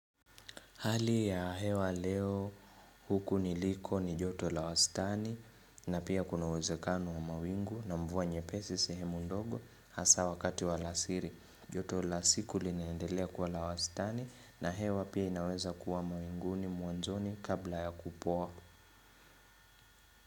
Hali ya hewa leo huku niliko ni joto la wastani na pia kuna uwezekano wa mawingu na mvua nyepesi sehemu ndogo hasa wakati wa alasiri. Joto la siku linaendelea kuwa la wastani na hewa pia inaweza kuwa mawinguni mwanzoni kabla ya kupoa.